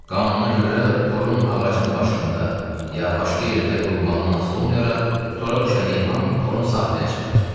“Qanuna görə torun ağacın başında, ya başqa yerdə qurulmağından asılı olmayaraq tora düşən heyvan torun sahibinə çatır.”